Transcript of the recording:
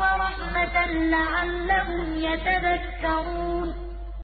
وَلَقَدْ آتَيْنَا مُوسَى الْكِتَابَ مِن بَعْدِ مَا أَهْلَكْنَا الْقُرُونَ الْأُولَىٰ بَصَائِرَ لِلنَّاسِ وَهُدًى وَرَحْمَةً لَّعَلَّهُمْ يَتَذَكَّرُونَ